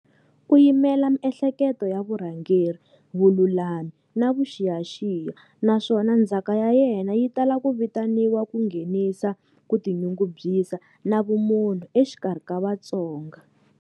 U yimela miehleketo ya vurhangeri, vululami, na vuxiyaxiya, naswona ndzhaka ya yena yi tala ku vitaniwa ku nghenisa ku tinyungubyisa na vumunhu exikarhi ka Vatsonga.